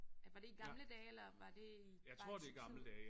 Er var det i gamle dage eller var det i bare i Tyrkiet